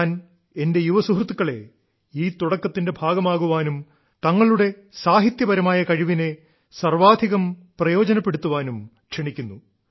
ഞാൻ എന്റെ യുവസുഹൃത്തുക്കളെ ഈ തുടക്കത്തിന്റെ ഭാഗമാകാനും തങ്ങളുടെ സാഹ്യത്യപരമായ കഴിവിനെ സർവ്വാധികം പ്രയോജനപ്പെടുത്താനും ക്ഷണിക്കുന്നു